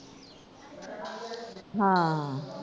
ਹਾਂ।